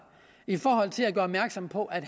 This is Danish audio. i forhold til at gøre opmærksom på at